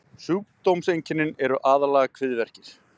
sjúkdómseinkennin eru aðallega kviðverkir